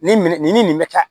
Nin nin ni nin bɛ ka